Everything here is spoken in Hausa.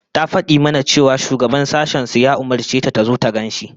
Ta fadi mana cewa shugaban sashen su ya umurce ta tazo ta gan shi